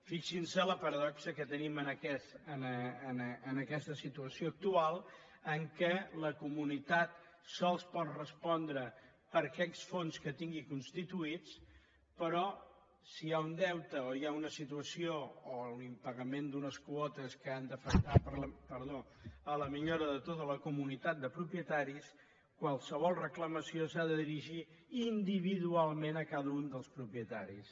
fixin se la paradoxa que tenim en aquesta situació actual en què la comunitat sols pot respondre per aquells fons que tingui constituïts però si hi ha un deute o hi ha una situació o l’impagament d’unes quotes que han d’afectar a la millora de tota la comunitat de propietaris qualsevol reclamació s’ha de dirigir individualment a cada un dels propietaris